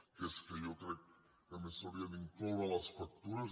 que és que jo crec que a més s’hauria d’incloure a les factures